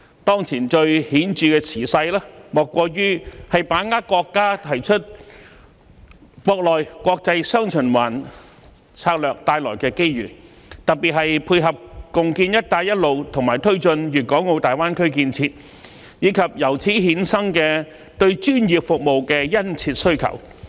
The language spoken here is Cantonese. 當前最顯著的時勢，莫過於把握國家提出國內、國際"雙循環"策略帶來的機遇，特別是配合共建"一帶一路"和推進粵港澳大灣區建設，以及由此衍生的對專業服務的殷切需求。